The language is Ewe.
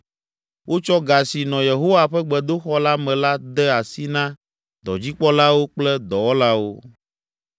Wotsɔ ga si nɔ Yehowa ƒe gbedoxɔ la me la de asi na dɔdzikpɔlawo kple dɔwɔlawo.”